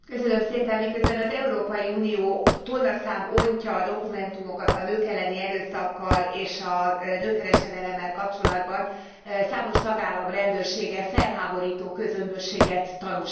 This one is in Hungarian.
Miközben az Európai Unió tonnaszám ontja a dokumentumokat a nők elleni erőszakkal és a nőkereskedelemmel kapcsolatban, számos tagállam rendőrsége felháborító közömbösséget tanúsít.